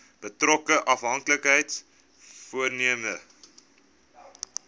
betrokke afhanklikheids vormende